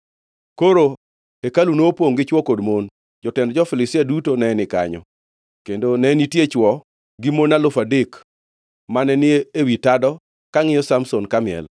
Koro hekalu nopongʼ gi chwo kod mon; jotend jo-Filistia duto ne ni kanyo, kendo ne nitie chwo gi mon alufu adek mane ni ewi tado ka ngʼiyo Samson kamiel.